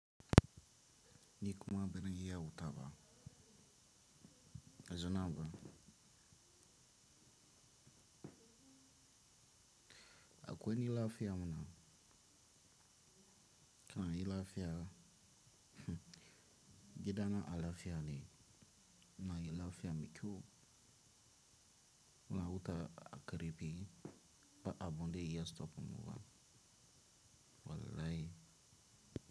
Ni kuma bazan iya hutawa ba. Baizo nan ba. Akwai ni lafiya mana. Kananan lafiya. Gidana na lafiya ne. Na yi lafiya mai kyau. Na wuta a ƙarfi ba a bunda ya stop mu ba. Wallahi.